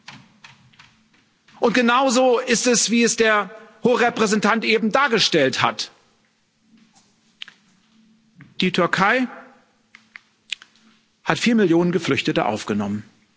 Und es ist genauso wie es der Hohe Vertreter eben dargestellt hat Die Türkei hat vier Millionen Geflüchtete aufgenommen.